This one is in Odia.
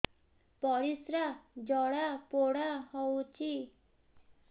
ପରିସ୍ରା ଜଳାପୋଡା ହଉଛି